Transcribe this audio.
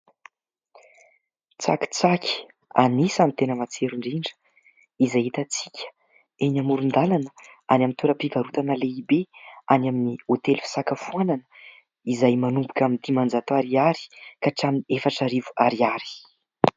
Tsakitsaky anisany dia tena matsiro indrindra izay hitantsika eny amoron-dalana any amin'ny toeram-pivarotana lehibe, any amin'ny hôtely fisakafoanana ; izay manomboka amin'ny dimanjato ariary ka hatramin'ny efatra arivo ariary.